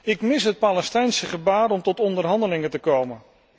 Ik mis het Palestijnse gebaar om tot onderhandelingen te komen.